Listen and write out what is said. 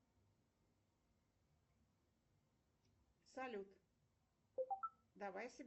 салют давай соберем голос